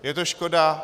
Je to škoda.